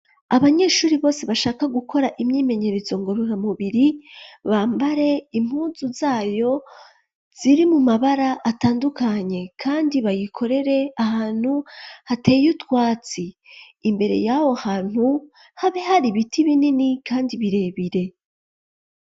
Abanyeshuri bose bashaka gukora imyimenyerezo ngororamubiri, bambare impunzu zayo ziri mu mabara atandukanye. Kandi bayikorere ahantu hateye utwatsi. Imbere yaho ahantu, habe hari ibiti binini kandi birebire.